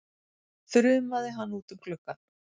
þrumaði hann út um gluggann.